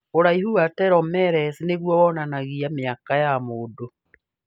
Ũraihu wa Telomeres nĩguo wonanagia mĩaka ya mũndũ.